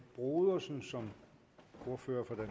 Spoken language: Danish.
brodersen som ordfører